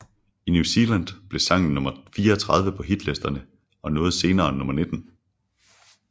I New Zealand blev sangen nummer 34 på hitlisterne og nåede senere nummer 19